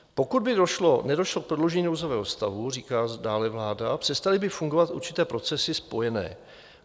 Pokud by nedošlo k prodloužení nouzového stavu, říká dále vláda, přestaly by fungovat určité procesy spojené.